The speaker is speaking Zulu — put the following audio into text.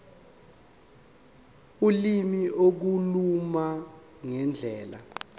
ulimi ukukhuluma ngendlela